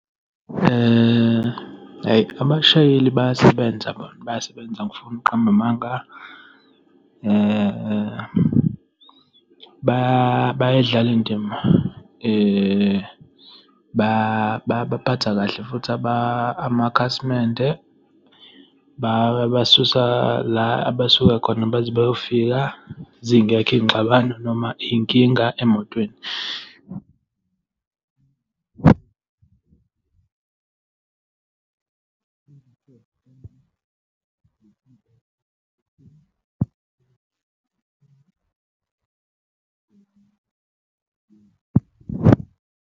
Hhayi abashayeli bayasebenza bona, bayasebenza, angifuni ukuqamba amanga. Bayayidlala indima. Babaphatha kahle futhi amakhasimende. Bayabasusa la abasuka khona baze bayofika, zingekho iy'ngxabano noma inkinga emotweni .